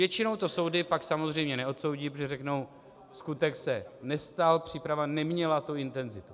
Většinou to soudy pak samozřejmě neodsoudí, protože řeknou: skutek se nestal, příprava neměla tu intenzitu.